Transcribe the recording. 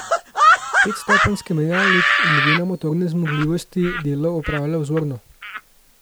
Petstopenjski menjalnik glede na motorne zmogljivosti delo opravlja vzorno.